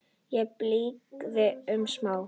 Í blygðun og smán.